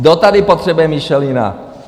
Kdo tady potřebuje Michelina?